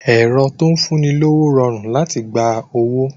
Ẹ̀rọ tó ń fún ni lówó rọrùn láti gba owó